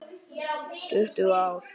Tuttugu ár!